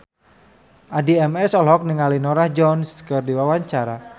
Addie MS olohok ningali Norah Jones keur diwawancara